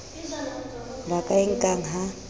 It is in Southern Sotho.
ba ka e nkang ha